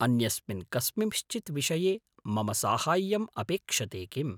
अन्यस्मिन् कस्मिँश्चित् विषये मम साहाय्यम् अपेक्षते किम्?